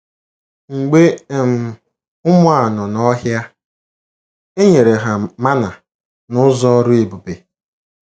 Mgbe um ụmụ a nọ n’ọhia, e nyere ha mana n’ụzọ ọrụ ebube.